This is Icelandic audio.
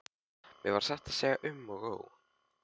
Mér varð satt að segja um og ó.